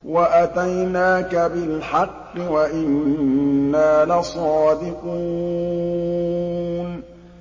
وَأَتَيْنَاكَ بِالْحَقِّ وَإِنَّا لَصَادِقُونَ